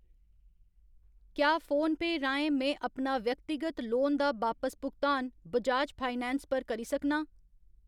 क्या फोनपेऽ राहें में अपना व्यक्तिगत लोन दा बापस भुगतान बजाज फाइनैंस पर करी सकनां ?